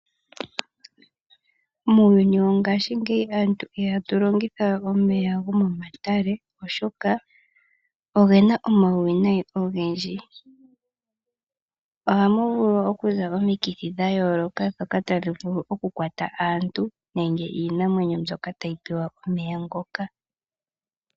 Muuyuni wongashingeyi, aantu ihatu longitha we omeya gomomatale oshoka ogena omauwinayi ogendji. Ohamu vulu oku za omikithi dhayooloka, ndhoka tadhi vulu okukwata aantu, nenge iinamwenyo mbyoka tayi pewa omeya ngoka.